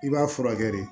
I b'a furakɛ de